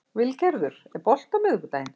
Vilgerður, er bolti á miðvikudaginn?